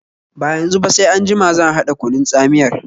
Ba yanzu ba, sai anjima zan haɗa kunun tsamiyar